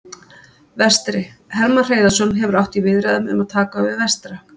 Vestri: Hermann Hreiðarsson hefur átt í viðræðum um að taka við Vestra.